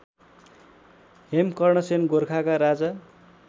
हेमकर्णसेन गोरखाका राजा